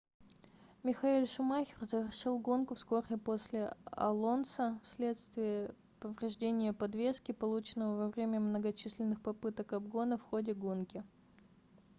михаэль шумахер завершил гонку вскоре после алонсо в следствие повреждения подвески полученного во время многочисленных попыток обгона в ходе гонки